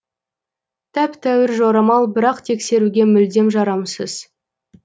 тәп тәуір жорамал бірақ тексеруге мүлдем жарамсыз